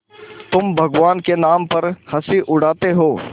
तुम भगवान के नाम पर हँसी उड़ाते हो